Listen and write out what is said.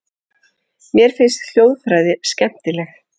Mér finnst hljóðfræði skemmtileg.